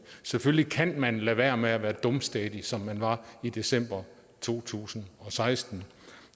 selvfølgelig kan man lade være med at være dumstædig som man var i december to tusind og seksten